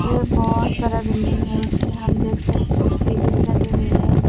बहौत सारा बिल्डिंग है इसमें हम देख सकते है लगे हुए है।